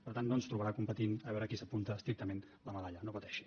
per tant no ens trobarà competint a veure qui s’apunta estrictament la medalla no pateixi